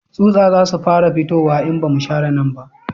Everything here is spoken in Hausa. Tsutsa za su fara fitowa in ba mu share nan ba